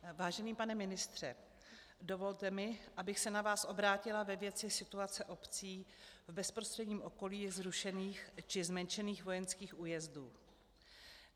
Vážený pane ministře, dovolte mi, abych se na vás obrátila ve věci situace obcí v bezprostředním okolí zrušených či zmenšených vojenských újezdů.